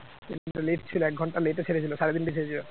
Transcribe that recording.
এক ঘন্টা late ছিল এক ঘন্টা Late এ ছেড়েছিল সাড়ে তিনটেই ছেড়েছিল